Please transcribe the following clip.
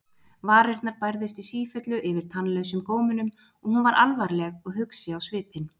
Varirnar bærðust í sífellu yfir tannlausum gómunum og hún var alvarleg og hugsi á svipinn.